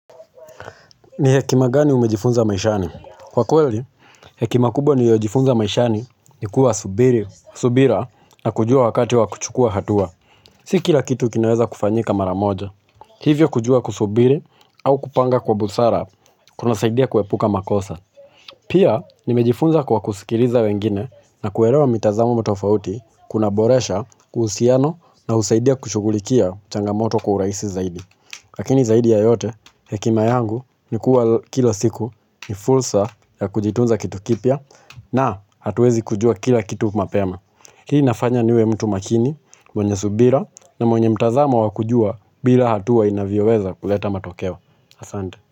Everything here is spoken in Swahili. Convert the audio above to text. Ni hekima gani umejifunza maishani? Kwa kweli, hekima kubwa niyojifunza maishani ni kuwa subiri, subira na kujua wakati wa kuchukua hatua. Si kila kitu kinaweza kufanyika mara moja. Hivyo kujua kusubiri au kupanga kwa busara, kunasaidia kuepuka makosa. Pia, nimejifunza kwa kusikiliza wengine na kuelewa mitazamo tofauti kunaboresha, kuhusiano na husaidia kushugulikia changamoto kwa urahisi zaidi. Lakini zaidi ya yote, hekima yangu ni kuwa kila siku ni fulsa ya kujitunza kitu kipya na hatuwezi kujua kila kitu mapema. Hii inafanya niwe mtu makini, mwenye subira na mwenye mtazamo wa kujua bila hatua inavyoweza kuleta matokewa. Asante.